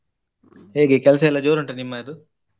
ಹೇಗೆ ಕೆಲ್ಸ ಎಲ್ಲ ಜೋರ್ ಉಂಟ ನಿಮ್ಮದು?